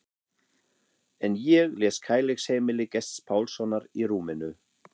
En ég les Kærleiksheimili Gests Pálssonar í rúminu.